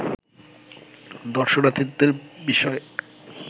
দর্শনার্থীদের বিষয়